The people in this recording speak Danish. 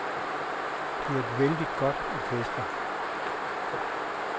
Det er et vældigt godt orkester.